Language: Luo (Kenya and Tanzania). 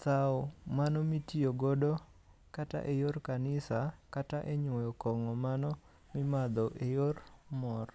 sawo mano mitiyo godo kata e yor kanisa kata e nywoyo kong'o mano mimadho e yor mor.